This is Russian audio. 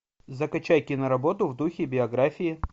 закачай киноработу в духе биографии